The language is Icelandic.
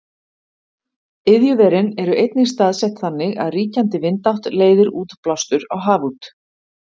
iðjuverin eru einnig staðsett þannig að ríkjandi vindátt leiðir útblástur á haf út